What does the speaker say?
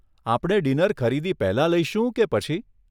આપણે ડીનર ખરીદી પહેલાં લઈશું કે પછી?